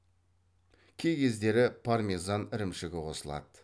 кей кездері пармезан ірімшігі қосылады